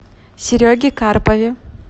сереге карпове